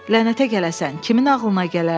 Lənətə gələsən, kimin ağlına gələrdi?